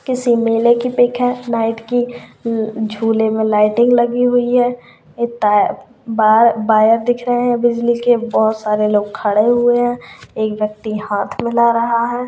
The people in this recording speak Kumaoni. किसी मेले की पिक है नाईट की ल झूले में लाइटिंग लगी हुई है ए-ता बार-बायर दिख रहे हैं बिज़नेस के बहोत सारे लोग खड़े हुए हैं एक व्यक्ति हाथ मिला रहा है।